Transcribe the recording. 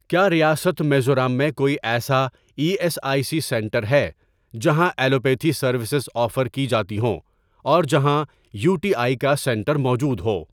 کیا ریاست میزورام میں کوئی ایسا E S I C centre ہے جہاں ایلوپیتھی سروسز آفر کی جاتی ہوں اور جہاں یو ٹی آئی کا سینٹر موجود ہو؟